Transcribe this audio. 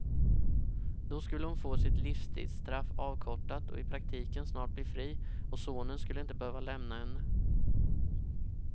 Då skulle hon få sitt livstidsstraff avkortat och i praktiken snart bli fri, och sonen skulle inte behöva lämna henne.